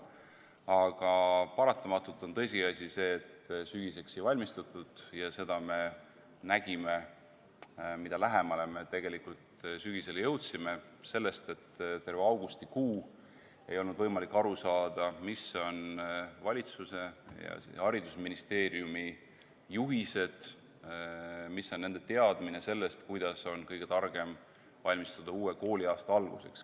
Aga paratamatult on tõsiasi see, et sügiseks ei oldud valmistunud ja seda me nägime, mida lähemale me tegelikult sügisele jõudsime, sellest, et terve augustikuu ei olnud võimalik aru saada, mis on valitsuse ja haridusministeeriumi juhised, mis on nende teadmine sellest, kuidas on kõige targem valmistuda uue kooliaasta alguseks.